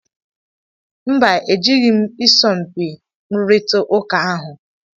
Mba, e jeghi m isọmpi nrurita ụka ahụ